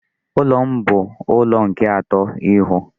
Ụlọ m bu ụlọ nke atọ ịhụ.